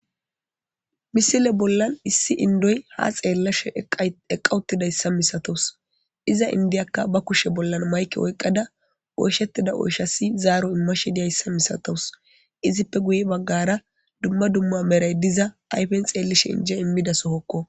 Missile bola issi indoy ha xelashe eqawutidayisa misatawus iza indiyaka ba kushe bola mayike oyikada oyishetiza oyishasi zaro imashe deiayisa misatawusi izippe guyebagara dumma dumma meray diza ayifen xelishe inje imiza sohokko.